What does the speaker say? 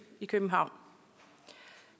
i københavn